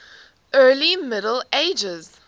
early middle ages